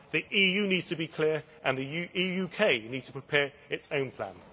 The EU needs to be clear and the UK needs to prepare its own plan.